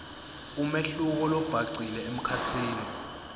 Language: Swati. umehluko lobhacile emkhatsini